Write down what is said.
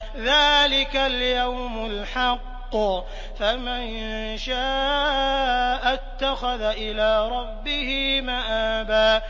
ذَٰلِكَ الْيَوْمُ الْحَقُّ ۖ فَمَن شَاءَ اتَّخَذَ إِلَىٰ رَبِّهِ مَآبًا